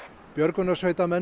björgunarsveitarmenn